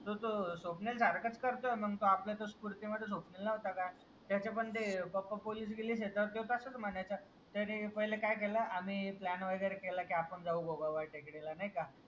तोतो स्वप्नील झाड कट करतो म्हणून आपल्या तो स्पुर्ती मध्ये झोपलेला त्याचे पण ते पप्पा पोलिस बिलिस आहेत म कसा म्हणायचं त्यांनी पहिला काय केलं आम्ही प्लॅन वगैरे केलं कि आपन पण जाउ गोडवाडा टेकडीला